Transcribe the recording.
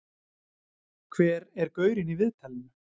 Hver er gaurinn í viðtalinu?